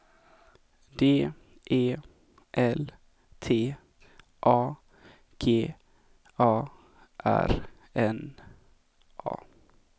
D E L T A G A R N A